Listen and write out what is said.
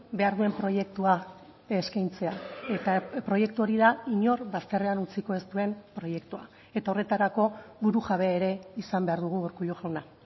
behar duen proiektua eskaintzea eta proiektu hori da inor bazterrean utziko ez duen proiektua eta horretarako burujabe ere izan behar dugu urkullu jauna